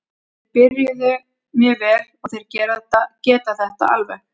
Þeir byrjuðu mjög vel og þeir geta þetta alveg.